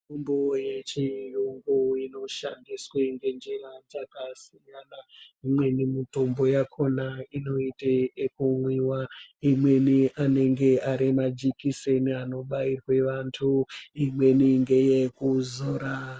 Mitombo yeshe hongu inoshandiswe ngenjira dzakasiyana. Imweni mutombo yakona inoite yekumwiwa, imweni anenge ari majikiseni ekubairwe vantu, imweni ngeyekuzora.